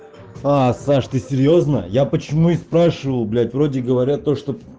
саш ты серьёзно я почему и спрашиваю блять вроде говорят то что